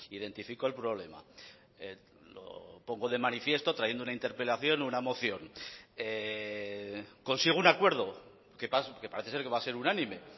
identifico el problema lo pongo de manifiesto trayendo una interpelación una moción consigo un acuerdo que parece ser que va a ser unánime